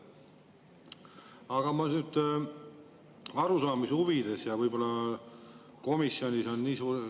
Aga ma arusaamise huvides.